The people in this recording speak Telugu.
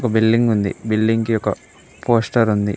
బిల్డింగ్ ఉంది బిల్డింగ్ ఒక పోస్టర్ ఉంది.